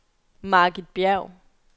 Margit Bjerg